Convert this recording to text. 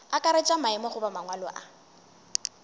akaretša maemo goba mangwalo a